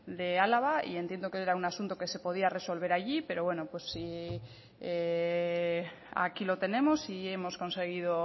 de álava y entiendo que era un asunto que se podía resolver allí pero aquí lo tenemos y hemos conseguido